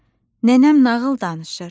nənəm nağıl danışır.